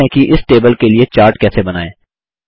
सीखते हैं कि इस टेबल के लिए चार्ट कैसे बनाएँ